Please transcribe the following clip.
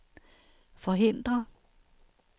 forhindre